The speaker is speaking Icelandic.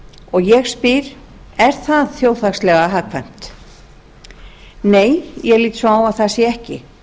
og ég spyr er það þjóðhagslega hagkvæmt nei ég lít svo á að það sé ekki